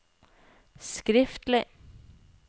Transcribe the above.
skriftlig